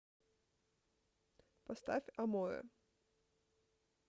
поставь аморэ